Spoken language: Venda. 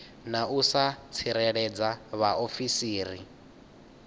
na u sa tsireledza vhaofisiri